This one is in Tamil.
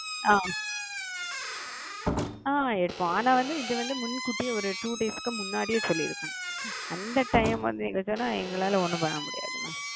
அ அ எடுப்போம் ஆனா வந்து இது முன் கூட்டியே ஒரு two days க்கு முன்னாடியே சொல்லிருங்க அந்த டைம்ல சொன்னா எங்களால ஒன்னும் பண்ண முடியாது மா.